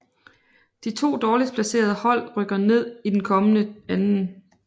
De to dårligst placerede hold rykker ned i den kommende 2